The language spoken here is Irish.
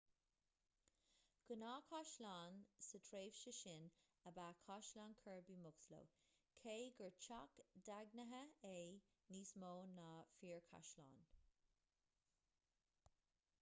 gnáthchaisleán sa tréimhse sin ab ea caisleán kirby muxloe cé gur teach daingnithe é níos mó ná fíorchaisleán